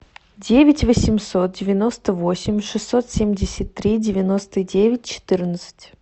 девять восемьсот девяносто восемь шестьсот семьдесят три девяносто девять четырнадцать